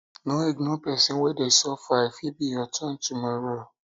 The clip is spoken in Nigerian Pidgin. no ignore pesin wey dey suffer o e fit be your turn tomorrow